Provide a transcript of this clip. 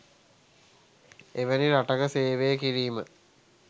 එවැනි රටක සේවය කිරීම